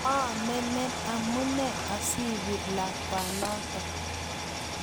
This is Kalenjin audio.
moomenen amune asiibir lakwanoto